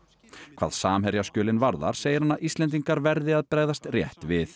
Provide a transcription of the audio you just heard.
hvað varðar segir hann að Íslendingar verði að bregðast rétt við